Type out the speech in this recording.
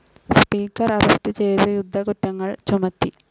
Speaker arrest ചെയ്ത് യുദ്ധക്കുറ്റങ്ങൾ ചുമത്തി.